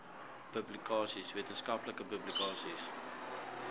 publikasies wetenskaplike publikasies